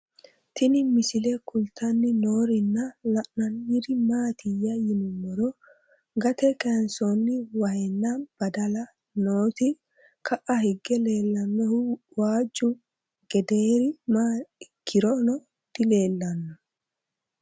Tinni misile kulittanni noorrinna la'nanniri maattiya yinummoro gatte kayiinsoonni wahenna badalla nootti ka'a hige leelannohu waajju gedeeri maa ikkinnoro dileellanno